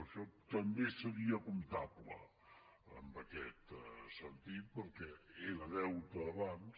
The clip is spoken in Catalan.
això també seria comptable en aquest sentit perquè era deute abans